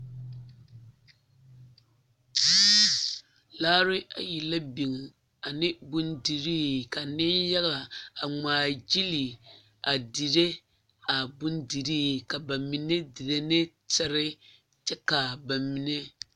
Laara ayi la biŋ ane bondirii ka neŋyaga a ŋmaa gyili a diri a bondirii ba mine diri ne tiri kyɛ ka ba mine.